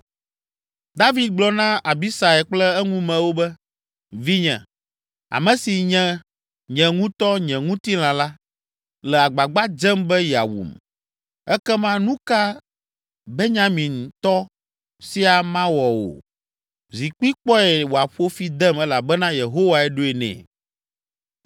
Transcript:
David gblɔ na Abisai kple eŋumewo be, “Vinye, ame si nye nye ŋutɔ nye ŋutilã la, le agbagba dzem be yeawum, ekema nu ka Benyamintɔ sia mawɔ o? Zi kpi kpɔe wòaƒo fi dem elabena Yehowae ɖoe nɛ.